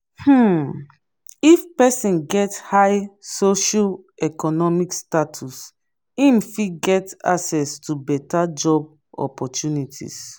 um if persin get high socio-economic status im fit get access to better job opprtunities